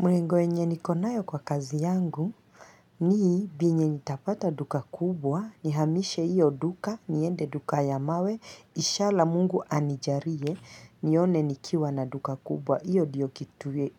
Malengo yenye nikonayo kwa kazi yangu, ni bei nitapata duka kubwa, nihamishe hiyo duka, niende duka ya mawe, ishala mungu anijarie, nione nikiwa na duka kubwa. Hiyo ndiyo kitu